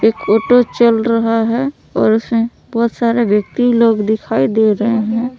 Auto चल रहा हैं और उसमें बहुत सारे व्यक्ति लोग दिखाई दे रहे हैं।